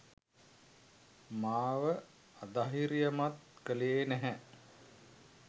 මාව අධෛර්යයමත් කළේ නැහැ.